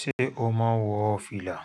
Ṣépé o máa ń wọ fìlà?